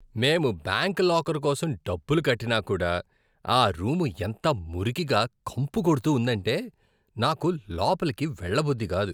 మేం bank locker కోసం డబ్బులు కట్టినా కూడా, ఆ రూమ్ ఎంత మురికిగా, కంపు కొడుతూ ఉందంటే నాకు లోపలికి వెళ్లబుద్ధి కాదు.